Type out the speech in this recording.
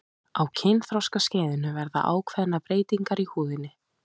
á kynþroskaskeiðinu verða ákveðnar breytingar í húðinni